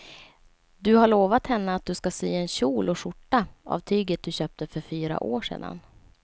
Du har lovat henne att du ska sy en kjol och skjorta av tyget du köpte för fyra år sedan.